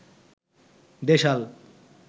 দেশাল